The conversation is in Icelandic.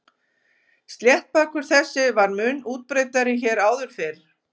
Sléttbakur þessi var mun útbreiddari hér áður fyrr.